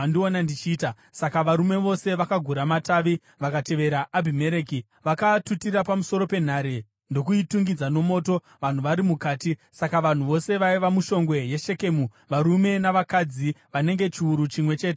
Saka varume vose vakagura matavi vakatevera Abhimereki. Vakaatutira pamusoro penhare ndokuitungidza nomoto vanhu vari mukati. Saka vanhu vose vaiva mushongwe yeShekemu, varume navakadzi vanenge chiuru chimwe chete vakafawo.